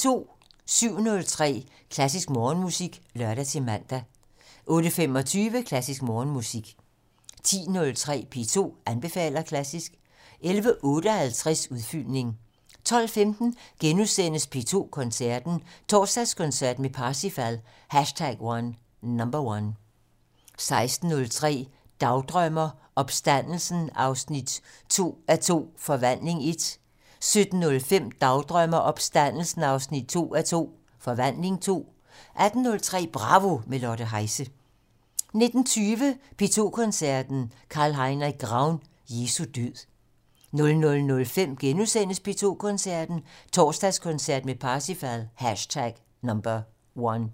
07:03: Klassisk Morgenmusik (lør-man) 08:25: Klassisk Morgenmusik 10:03: P2 anbefaler klassisk 11:58: Udfyldning 12:15: P2 Koncerten - Torsdagskoncert med Parsifal #1 * 16:03: Dagdrømmer: Opstandelsen 2:2 - Forvandling 1 17:05: Dagdrømmer: Opstandelsen 2:2 - Forvandling 2 18:03: Bravo - med Lotte Heise 19:20: P2 Koncerten - Carl Heinrich Graun: Jesu død 00:05: P2 Koncerten - Torsdagskoncert med Parsifal #1 *